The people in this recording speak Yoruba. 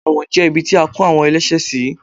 ẹwọ́n jẹ ibí ti a ko awon ẹlẹṣẹ sí